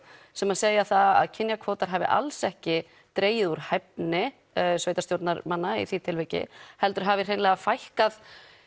sem segja að kynjakvótar hafi alls ekki dregið úr hæfni sveitastjórnarmanna í því tilviki heldur hafi fækkað